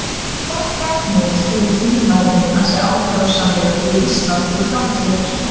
Hvaða gjaldmiðil telur þingmaðurinn að sé ákjósanlegur fyrir Ísland til framtíðar?